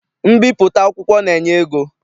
Mbipụta akwụkwọ na-enye ego.